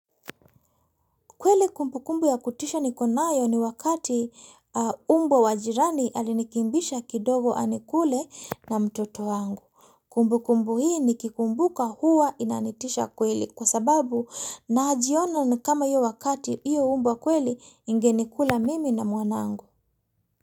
Kweli kumbu kumbu ya kutisha niko nayo ni wakati umbwa wa jirani alinikimbisha, kidogo anikule na mtoto wangu. Kumbu kumbu hii ni kikumbuka huwa inanitisha kweli kwa sababu na jiona ni kama hiyo wakati hiyo umbwa kweli ingenikula mimi na mwanangu.